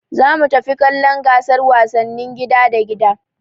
Za mu tafi kallon gasar wasannin gida da gida